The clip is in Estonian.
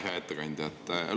Hea ettekandja!